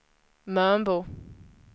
Mölnbo